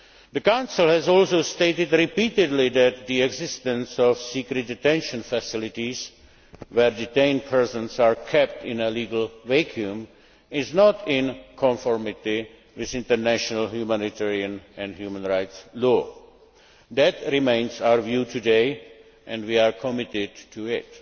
law. The Council has also stated repeatedly that the existence of secret detention facilities, where detained persons are kept in a legal vacuum, is not in conformity with international humanitarian and human rights law. That remains our view today and we are committed